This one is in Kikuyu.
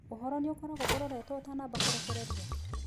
Ũhoro nĩ ũkoragwo ũroretwo ũtanamba kũrekererio?